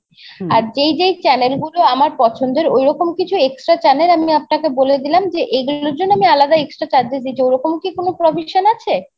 আর যেই যেই channel গুলো আমার পছন্দের ঐরকম extra কিছু channel আমি আপনাকে বলে দিলাম যে এগুলোর জন্য আমি আলাদা extra charges দিয়ে দিবো ওরকম কি কোনো provision আছে?